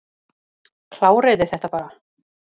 Kláriði þetta bara.